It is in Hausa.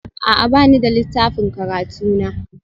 A'a, ba ni da littafin karatu na